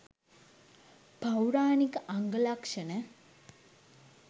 පෞරාණික අංග ලක්‍ෂණ,